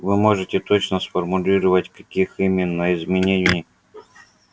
вы можете точно сформулировать каких именно изменений